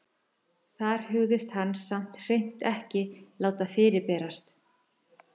Þar hugðist hann samt hreint ekki láta fyrirberast.